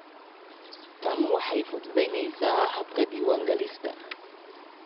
Tani waxay fududaynaysaa habka diiwaangelinta.